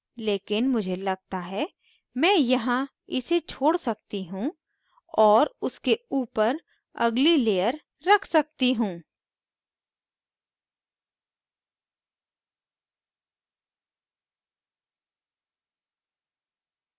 लेकिन मुझे लगता है मैं यहाँ इसे छोड़ सकती हूँ और उसके ऊपर अगली layer रख सकती हूँ